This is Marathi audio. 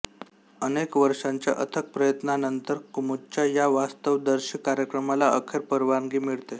अनेक वर्षांच्या अथक प्रयत्नांनतर कुमूदच्या या वास्तवदर्शी कार्यक्रमाला अखेर परवानगी मिळते